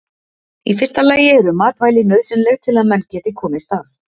Í fyrsta lagi eru matvæli nauðsynleg til að menn geti komist af.